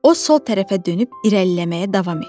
O sol tərəfə dönüb irəliləməyə davam etdi.